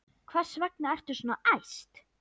Hvers vegna ertu svona æst?